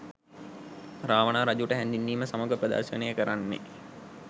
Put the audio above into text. රාවණා රජුට හැඳින්වීම සමඟ ප්‍රදර්ශනය කරන්නේ